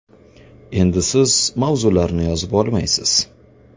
endi siz mavzularni yozib olmaysiz!!!